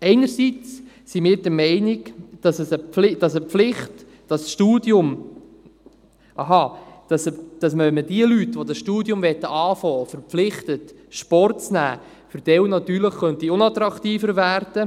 Wir sind zum einen der Meinung, dass dieses Studium natürlich für manche Leute, die es beginnen wollen, unattraktiver werden könnte, wenn man sie verpflichtet, Sport zu nehmen.